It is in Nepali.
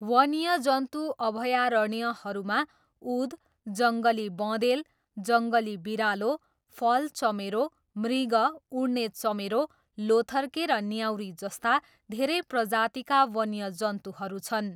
वन्यजन्तु अभयारण्यहरूमा उद, जङ्गली बँदेल, जङ्गली बिरालो, फल चमेरो, मृग, उड्ने चमेरो, लोथर्के र न्याउरी जस्ता धेरै प्रजातिका वन्यजन्तुहरू छन्।